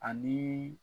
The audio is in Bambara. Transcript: Ani